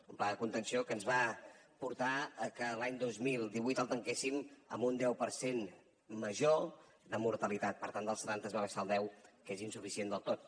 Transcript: un pla de contenció que ens va portar a que l’any dos mil divuit el tanquéssim amb un deu per cent major de mortalitat per tant del setanta es va baixar al deu que és insuficient del tot